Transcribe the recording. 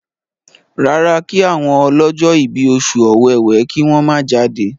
rárá kí àwọn ọlọjọ ibí Oṣù Ọ̀wẹwẹ kí wón má jáde.